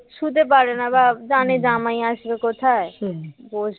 শুতে পারেনা জানে জামাই আসবে কোথায়